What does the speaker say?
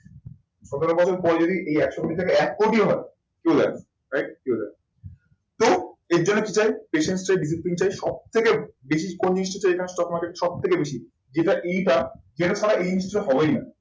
সতেরো বছর পরে যদি এই একশো কোটি টাকা এক কোটিও হয়, চলে আসুন। right চলে আসুন। তো এর জন্য কি চাই? patience চাই, discipline চাই, সবথেকে বেশি কোন জিনিসটা চাই সবথেকে বেশি যেটা এই বার যেটা ছাড়া এই জিনিসটা হবেই না।